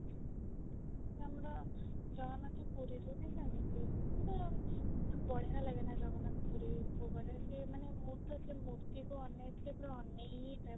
ଆମର ଜଗନ୍ନାଥ ପୁରୀ ରେ ବି ସେମିତି ମାନେ ବଢିଆ ଲାଗେ ନା ଜଗନ୍ନାଥ ପୁରୀ କୁ ଗଲେ ମାନେ ମୁଁ ତ ସେ ମୂର୍ତ୍ତି କୁ ଅନେଇ ଥିଲେ ପୁରା ଅନେଇ ହିଁ ଥାଏ